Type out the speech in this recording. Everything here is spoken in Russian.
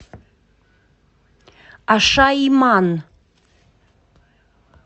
ашаиман